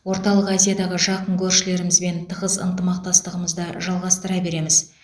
орталық азиядағы жақын көршілерімізбен тығыз ынтымақтастығымызды жалғастыра береміз